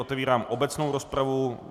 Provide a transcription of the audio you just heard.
Otevírám obecnou rozpravu.